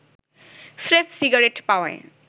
স্রেফ সিগারেট পাওয়ায়